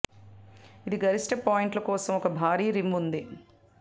ఇది గరిష్ట పాయింట్లు కోసం ఒక భారీ రిమ్ ఉంది